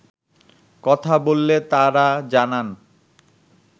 কথা বললে তারা জানান